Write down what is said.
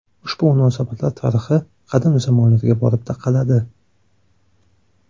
Ushbu munosabatlar tarixi qadim zamonlarga borib taqaladi.